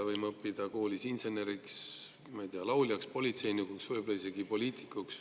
Me võime õppida koolis inseneriks, lauljaks, politseinikuks, võib-olla isegi poliitikuks.